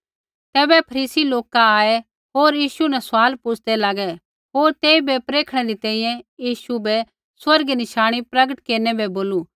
तैबै फरीसी लोका आऐ होर यीशु न सवाल पुछ़दै लागै होर तेइबै प्रेखणै री तैंईंयैं यीशु बै स्वर्गीय नशाणी प्रगट केरनै बै बोलू